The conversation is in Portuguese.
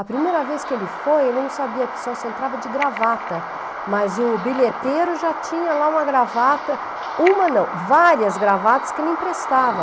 A primeira vez que ele foi, ele não sabia se entrava de gravata, mas o bilheteiro já tinha lá uma gravata, uma não, várias gravatas que ele emprestava.